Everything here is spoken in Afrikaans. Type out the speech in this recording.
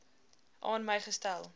aan my gestel